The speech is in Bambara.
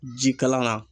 Jikalan na